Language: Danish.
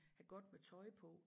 Have godt med tøj på